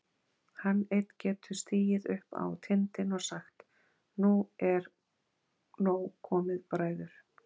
Hann einn getur stigið upp á tindinn og sagt: Nú er nóg komið, bræður!